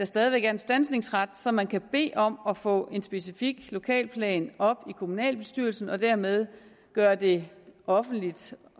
stadig væk er en standsningsret så man kan bede om at få en specifik lokalplan op i kommunalbestyrelsen og dermed gøre det offentligt